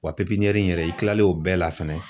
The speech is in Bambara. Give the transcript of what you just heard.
Wa pipiniyɛri yɛrɛ i kilalen o bɛɛ la fɛnɛ